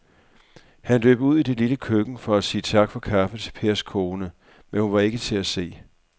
Han løb ud i det lille køkken for at sige tak for kaffe til Pers kone, men hun var ikke til at se.